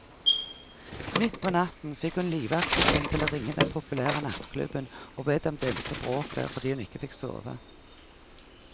Midt på natten fikk hun livvakten sin til å ringe den populære nattklubben og be dem dempe bråket, fordi hun ikke fikk sove.